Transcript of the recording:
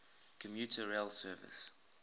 commuter rail service